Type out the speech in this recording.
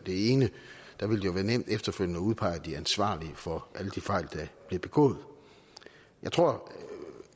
det ene være nemt efterfølgende at udpege de ansvarlige for alle de fejl der bliver begået jeg tror